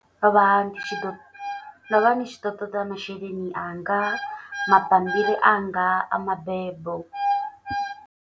Ndo vha ndi tshi ḓo ndo vha ndi tshi ḓo ṱoḓa masheleni anga, mabambiri anga a mabebo.